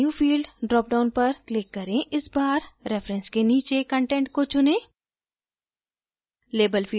add a new field dropdown पर click करें इस बार reference के नीचे content को चुनें